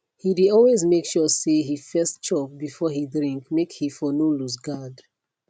he dey always make sure say he first chop before he drink make he for no loose guard